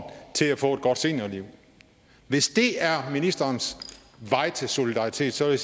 til at få et godt seniorliv hvis det er ministerens vej til solidaritet så vil